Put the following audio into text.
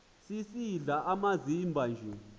sisidl amazimba nje